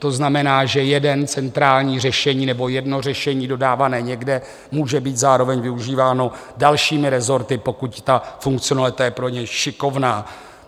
To znamená, že jedno centrální řešení nebo jedno řešení dodávané někde může být zároveň využíváno dalšími resorty, pokud ta funkcionalita je pro ně šikovná.